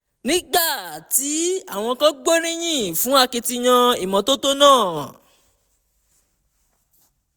nígbà tí àwọn kan gbóríyìn fún akitiyan ìmọ́tótó náà